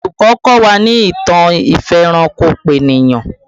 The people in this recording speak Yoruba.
Olùkọ́ kọ́ wa ní ìtàn ìfẹranko-peniyan